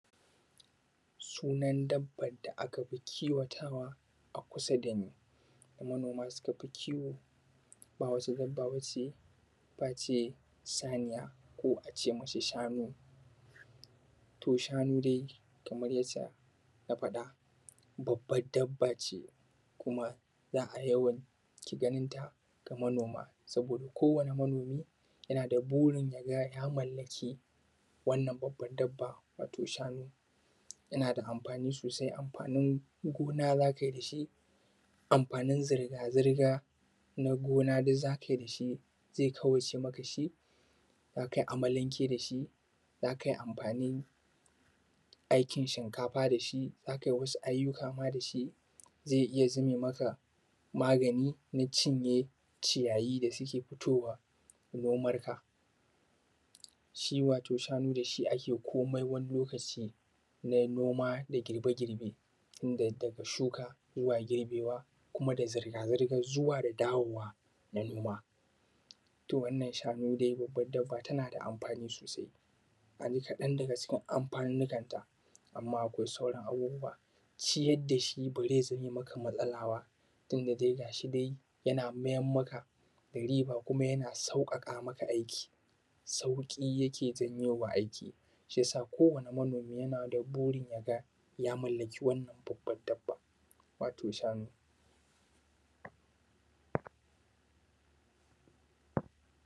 Sunan dabban da aka fi kiwatawa a kusa da ni, manima sha fi kiwo, ba wata dabba b ace face saniya ko a ce masa shabu. Shanu dai kamar yacca na faɗa babban dabba ce, kama za a yawaita ganinta ga manoma, saboda kowane manomi yana da burin ya gay a mallaki wannan babban dabba. Wato shanu, yana da amfani sosai, amfanin gona za kai da shi, amfanin zirga-zirga na gona duk za kai da shi. Zai kawaice maka shi. Za kai amalanke da shi, za kai amfain, aikin shinkafa da shi, za kai wasu ayyuka ma da su. Zai iya zame maka, magani na cinye ciyayi da suke fitowa nomanka. Shi wato shanu da shi ake komai wani lokaci na noma da girbe-girbe. Inda yadda ka shuka zuwa girbewa kuma da zirga-zirga zuwa da dawowa na noma. To wannan shanu babba dabba tana da amfani sosai. Abi kaɗan daga cikin amfanunnukan ta, amma akwai sauran abubuwa ciyar da shi ba zai zame maka matsala ba. Tun da dai gas hi nan yana mayam maka da riba kuma yana sauƙaƙa maka aiki. Sauƙi yake zauo wa aiki. Shi ya sa kowane manomi yake da burin ya gay a mallake wannan dabban dabban wato shanu.